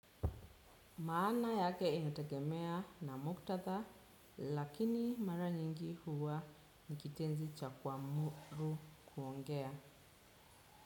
Maana yake inategemea na muktatha, lakini mara nyingi huwa ni kitenzi cha kuamuru kuongea.